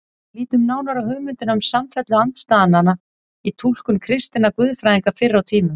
Lítum nánar á hugmyndina um samfellu andstæðnanna í túlkun kristinna guðfræðinga fyrr á tímum.